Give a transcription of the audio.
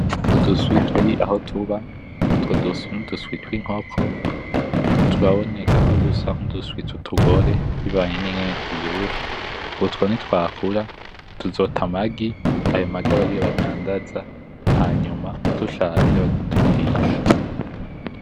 Uduswi turi aho tuba , utwo duswi ni uduswi twinkoko , turaboneka ko dusa nkuduswi twutugore bivanye nuko tuvyibushe ,utwo nitwakura tuzota amagi , ayo magi abe ariyo badandaza hama dushaje banatugurishe .